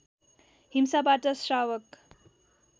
हिंसाबाट श्रावक